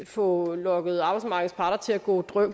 få lokket arbejdsmarkedets parter til at gå